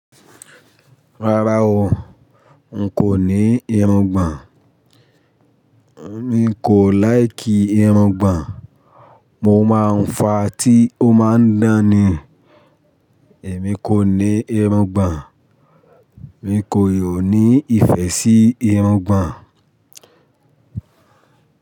Rárá o, n kò ní irungbọ̀n. Mi kò láìkì irungbọ̀n. Mò máa ń fa tí ó máa ń dán ni. Èmi kò ní irungbọ̀n. Èmi kò yóò ní ìfẹ́ sí irungbọ̀n.